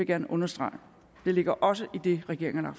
gerne understrege det ligger også i det regeringen har